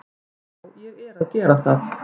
Já, ég er að gera það.